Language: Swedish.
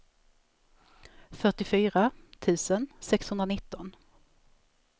fyrtiofyra tusen sexhundranitton